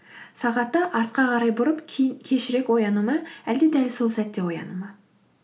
сағатты артқа қарай бұрып кейін кешірек ояну ма әлде дәл сол сәтте ояну ма